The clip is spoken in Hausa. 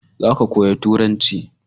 za ka koya turanci!